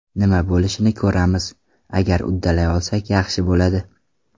Nima bo‘lishini ko‘ramiz… Agar uddalay olsak, yaxshi bo‘ladi.